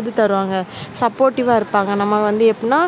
இது தருவாங்க supportive வா இருப்பாங்க. நம்ம வந்து எப்படின்னா